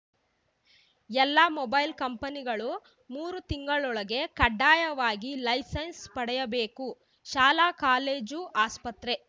ಎಲ್ಲ ಮೊಬೈಲ್‌ ಕಂಪನಿಗಳು ಮೂರು ತಿಂಗಳೊಳಗೆ ಕಡ್ಡಾಯವಾಗಿ ಲೈಸೆನ್ಸ್‌ ಪಡೆಯಬೇಕು ಶಾಲಾ ಕಾಲೇಜು ಆಸ್ಪತ್ರೆ